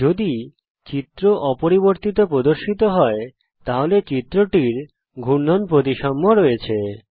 যদি চিত্র অপরিবর্তিত প্রদর্শিত হয় তাহলে চিত্রটির ঘূর্ণন প্রতিসাম্য আছে